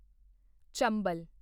ਚੰਬਲ